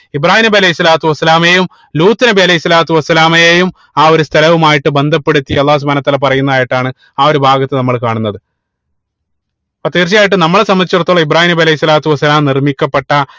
ഇബ്രാഹീം നബി അലൈഹി സ്വലാത്തു വസ്സലാമയും ലൂത്ത് നബി അലൈഹി സ്വലാത്തു വസ്സലാമയയും ആഹ് ഒരു സ്ഥലവുമായിട്ട് ബന്ധപ്പെടുത്തി അള്ളാഹു സുബ്‌ഹാനഉ വതാല പറയുന്നതായിട്ടാണ് ആ ഒരു ഭാഗത്ത് നമ്മൾ കാണുന്നത് അപ്പൊ തീർച്ചയായിട്ടും നമ്മളെ സംബന്ധിച്ചടുത്തോളം ഇബ്രാഹീം നബി അലൈഹി സ്വലാത്തു വസ്സലാം നിർമിക്കപ്പെട്ട